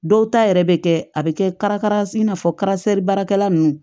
Dɔw ta yɛrɛ bɛ kɛ a bɛ kɛ i n'a fɔ baarakɛla ninnu